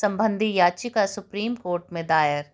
संबंधी याचिका supreme court में दायर